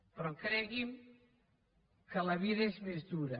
però cregui’m que la vida és més dura